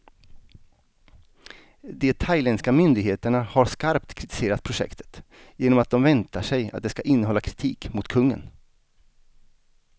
De thailändska myndigheterna har skarpt kritiserat projektet, genom att de väntar sig att det ska innehålla kritik mot kungen.